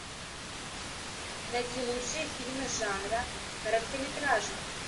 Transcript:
найти лучшие фильмы жанра короткометражный